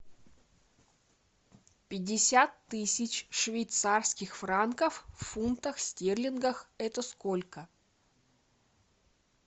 пятьдесят тысяч швейцарских франков в фунтах стерлингах это сколько